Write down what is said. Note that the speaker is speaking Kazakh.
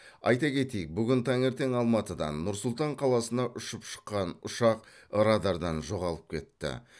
айта кетейік бүгін таңертең алматыдан нұр сұлтан қаласына ұшып шыққан ұшақ радардан жоғалып кетті